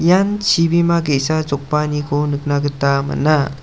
ian chibima ge·sa jokbaaniko nikna gita man·a.